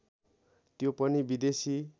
त्यो पनि विदेशी